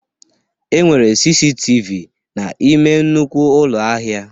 Enwere CCTV n'ime nnukwu ụlọ ahịa